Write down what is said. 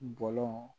Bɔlɔn